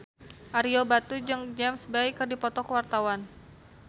Ario Batu jeung James Bay keur dipoto ku wartawan